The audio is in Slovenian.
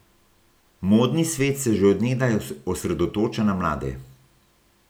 Modni svet se že od nekdaj osredotoča na mlade.